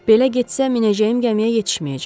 Belə getsə minəcəyim gəmiyə yetişməyəcəm.